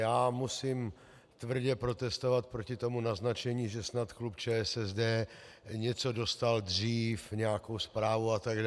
Já musím tvrdě protestovat proti tomu naznačení, že snad klub ČSSD něco dostal dřív, nějakou zprávu atd.